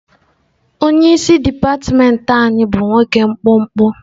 Onye isi dipatịmentị anyị bụ nwoke mkpụmkpụ.